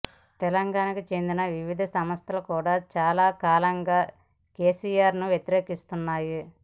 తెలంగాణకు చెందిన వివిధ సంస్థలు చాలా కాలంగా కెసిఆర్ ను వ్యతిరేకిస్తున్నాయి